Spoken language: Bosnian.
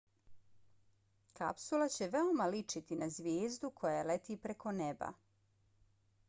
kapsula će veoma ličiti na zvijezdu koja leti preko neba